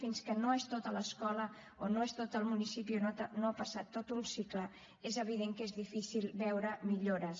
fins que no és tota l’escola o no és tot el municipi o no ha passat tot un cicle és evident que és difícil veure hi millores